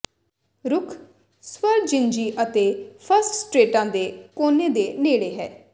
ਰੁੱਖ ਸ ਵਰਜਿਨਜੀ ਅਤੇ ਫਸਟ ਸਟ੍ਰੇਟਾਂ ਦੇ ਕੋਨੇ ਦੇ ਨੇੜੇ ਹੈ